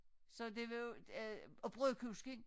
Så det var jo øh og brødkusken